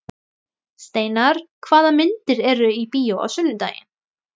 Steinar, hvaða myndir eru í bíó á sunnudaginn?